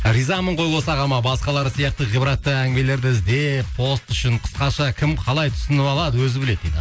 ризамын ғой осы ағама басқалары сияқты ғибратты әңгімелерді іздеп пост үшін қысқаша кім қалай түсініп алады өзі біледі дейді